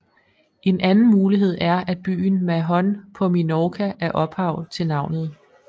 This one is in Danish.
En anden mulighed er at byen Mahon på Minorca er ophav til navnet